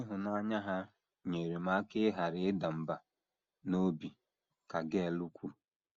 “ Ịhụnanya ha nyeere m aka ịghara ịda mbà n’obi, ” ka Gail kwuru.